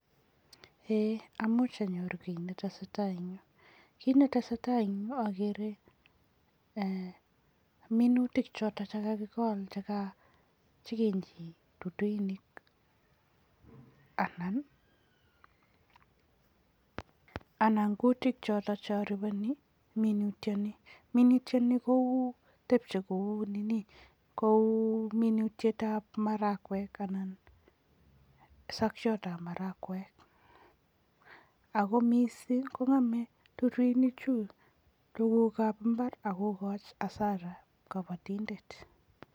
Eeh amuch aaror kiy ne tesetai eng yu, kiit ne tesetai eng yu ageere minutik choto chekakikol cheka, che kinyi duduinik anan kutiik choto che aripeni minutieni. Minutieni kou, tepchei kou minutietab marakwek anan sokietab marakwek ako mising kongeme duduinik chu tugukab imbaar ako kokoch hasara kabatindet.